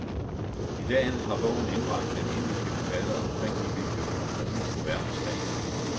I dag har bogen indbragt den indiske forfatter omkring ni millioner kroner på verdensplan.